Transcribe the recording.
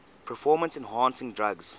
performance enhancing drugs